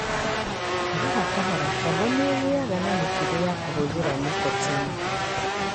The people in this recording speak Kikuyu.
O kahora kahora, tombo nĩ ĩgĩaga na mũtugo wa kũhũthĩra nicotine.